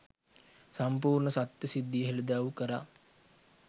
සම්පූර්ණ සත්‍ය සිද්ධිය හෙළිදරව් කළා